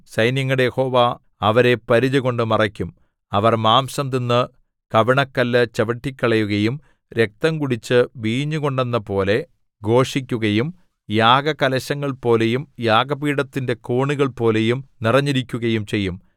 സൈന്യങ്ങളുടെ യഹോവ അവരെ പരിചകൊണ്ട് മറയ്ക്കും അവർ മാംസം തിന്നു കവിണക്കല്ലു ചവിട്ടിക്കളയുകയും രക്തം കുടിച്ചു വീഞ്ഞുകൊണ്ടെന്നപോലെ ഘോഷിക്കുകയും യാഗകലശങ്ങൾപോലെയും യാഗപീഠത്തിന്റെ കോണുകൾപോലെയും നിറഞ്ഞിരിക്കുകയും ചെയ്യും